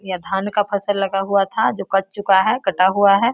यह धान का फसल लगा हुआ था जो कट चुका है कटा हुआ है।